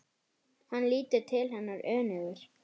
Hann lítur til hennar önugur.